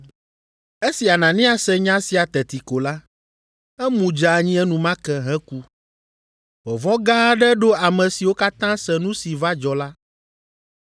Esi Anania se nya sia teti ko la, emu dze anyi enumake heku. Vɔvɔ̃ gã aɖe ɖo ame siwo katã se nu si va dzɔ la.